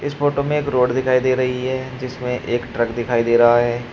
Photo में एक road दिखाई दे रही है। जिसमें एक ट्रक दिखाई दे रहा है।